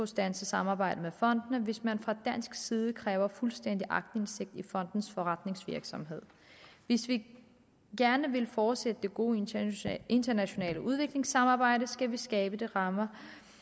standse samarbejdet med fondene hvis man fra dansk side kræver fuldstændig aktindsigt i fondenes forretningsvirksomhed hvis vi gerne vil fortsætte det gode internationale internationale udviklingssamarbejde skal vi skabe de rammer